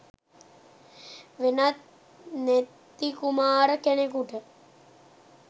වෙනත් නෙත්ති කුමාර කෙනකුට.